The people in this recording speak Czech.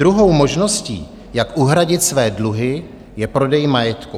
Druhou možností, jak uhradit své dluhy, je prodej majetku.